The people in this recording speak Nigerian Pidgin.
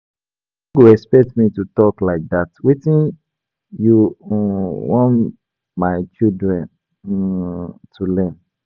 You no go expect me to talk like dat, wetin you um want my children um to learn.